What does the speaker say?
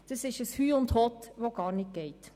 Das ist ein Hüst und Hott, das gar nicht geht.